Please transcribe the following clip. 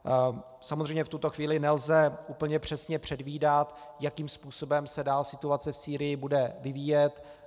Samozřejmě v tuto chvíli nelze úplně přesně předvídat, jakým způsobem se dál situace v Sýrii bude vyvíjet.